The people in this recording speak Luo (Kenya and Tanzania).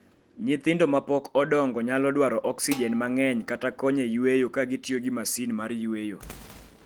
Nyithindo ma pok odongo nyalo dwaro oksijen mang�eny kata kony e yueyo ka gitiyo gi masin mar yweyo.